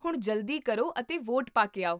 ਹੁਣ ਜਲਦੀ ਕਰੋ ਅਤੇ ਵੋਟ ਪਾਕੇ ਆਓ